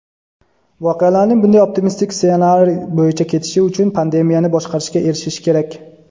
voqealarning bunday optimistik ssenariy bo‘yicha ketishi uchun pandemiyani boshqarishga erishish kerak.